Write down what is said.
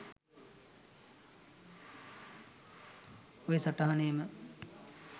ඔය සටහනේම